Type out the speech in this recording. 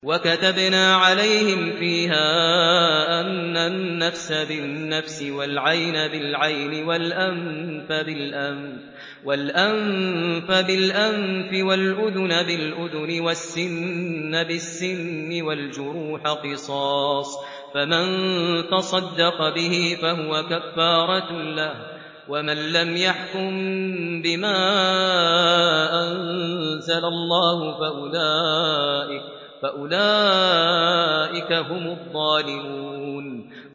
وَكَتَبْنَا عَلَيْهِمْ فِيهَا أَنَّ النَّفْسَ بِالنَّفْسِ وَالْعَيْنَ بِالْعَيْنِ وَالْأَنفَ بِالْأَنفِ وَالْأُذُنَ بِالْأُذُنِ وَالسِّنَّ بِالسِّنِّ وَالْجُرُوحَ قِصَاصٌ ۚ فَمَن تَصَدَّقَ بِهِ فَهُوَ كَفَّارَةٌ لَّهُ ۚ وَمَن لَّمْ يَحْكُم بِمَا أَنزَلَ اللَّهُ فَأُولَٰئِكَ هُمُ الظَّالِمُونَ